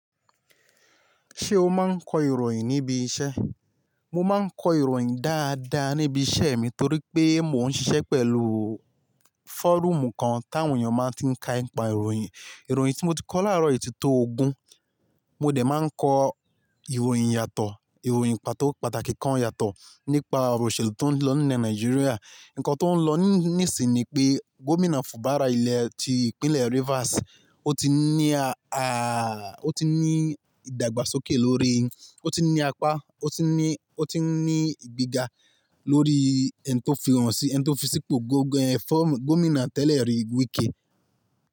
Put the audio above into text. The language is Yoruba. Ṣé o máa ń kọ ìròyìn níbi iṣẹ́? Mo máa ń kọ ìròyìn dáadáa níbi iṣẹ́ mi torí pé mò ń ṣiṣẹ́ pẹ̀lú fọ́rúùmù kan táwọn èèyàn máa ń tí ń ka ì n pa ìròyìn. Ìròyìn tí mo ti kọ láàárọ̀ yìí ti tó ogún. Mo dẹ̀ máa ń kọ ìròyìn yàtọ̀, ìròyìn pàtó pàtàkì kan yàtọ̀ nípa òrò ìṣèlú tó ń lọ ní ilẹ̀ Nàìjíríà. Ǹnkan tó ń lọ ni nisinyi ni pé Gómìnà Fubara ilẹ̀ ti Ìpínlẹ̀ Rivers, ó ti ní a, a, ó ti ní ìdàgbàsókè lórí, ó ti n ní apá, ó ti n ní, ó ti n ní ìgbéga lórí ẹni tó fi hàn si, ẹni tó fisipò gangan yen formu Gómìnà tẹ́lẹ̀ rí Wike.